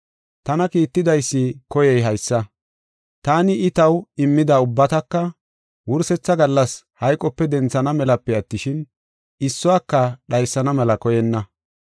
Tana kiittidaysi koyey haysa: taani I taw immida ubbataka wursetha gallas hayqope denthana melape attishin, issuwaka dhaysana mela koyenna.